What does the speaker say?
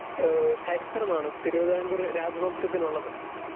Speaker 2 ഏഹ് ചരിത്രമാണ് തിരുവിതാംകൂർ രാജവംശത്തിനുള്ളത്.